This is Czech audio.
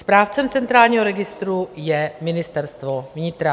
Správcem centrálního registru je Ministerstvo vnitra.